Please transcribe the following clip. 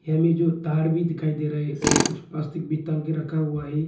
Yellow जो तार भी दिखाई दे रहा है और कुछ प्लास्टिक भी टांग के रखा हुआ है।